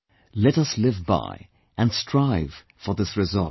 Let us live by and strive for this resolve